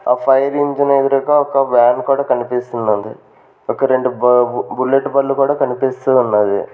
ఆ ఫైర్ ఇంజనెదురుగా ఒక వ్యాన్ కూడా కనిపిస్తున్నది ఒక రెండు బాబు బుల్లెట్ బండ్లు కూడా కనిపిస్తూ ఉన్నాది.